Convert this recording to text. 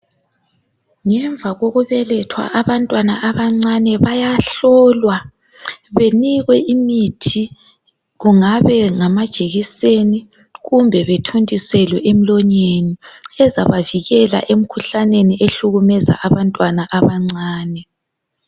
Ngemva kokubelethwa abantwana abancane bayahlolwa, benikwe imithi kungaba ngamajekiseni kumbe bethontiselwe emlonyeni ezabavikela emkhuhlaneni ehlukumeza abantwana abancane.